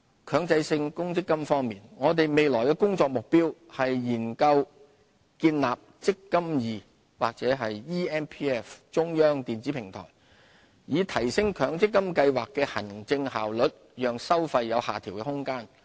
強制性公積金計劃我們未來的工作目標是研究建立"積金易"或 eMPF 中央電子平台，以提升強制性公積金計劃的行政效率，讓收費有下調的空間。